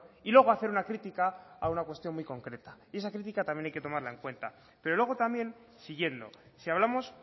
y luego hacer una crítica a una cuestión muy concreta y esa crítica también hay que tomarla en cuenta pero luego también siguiendo si hablamos